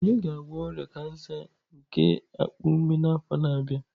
Onye ga-agwọ ọrịa kansa nke akpa ume n'afọ na-abịa.